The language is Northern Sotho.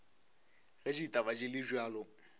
ge ditaba di le bjalo